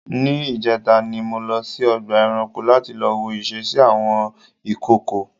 ní ìjẹta ni mo lọ sí ọgbà eranko lati lọ wo ìsesí àwọn ìkookò.